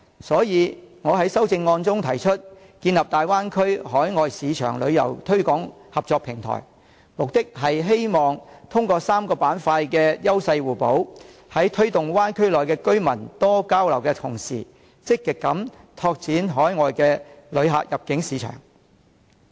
所以，我在修正案中提出，建立大灣區海外市場旅遊推廣合作平台，目的是希望通過3個板塊的優勢互補，推動灣區內的居民多交流的同時，積極拓展海外旅客的入境市場。